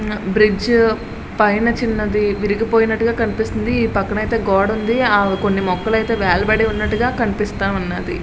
Bridge పైన చిన్నది విరిగినట్టుగా కనిపిస్తుంది. ఈ పక్కనే అయితే కొన్ని మొక్కలు ఉన్నాయి గోడ పక్కన కొన్ని మొక్కలు వేలాడబడి ఉన్నాయి. .>